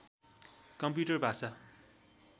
computer भाषा